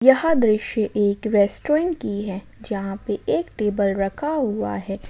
यह दृश्य एक रेस्टोरेंट की है जहां पे एक टेबल रखा हुआ है।